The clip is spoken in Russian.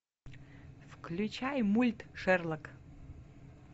включай мульт шерлок